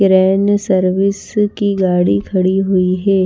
Garage में service की गाड़ी खड़ी हुई है।